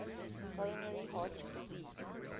coronary heart disease